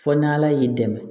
Fɔ n'ala y'i dɛmɛ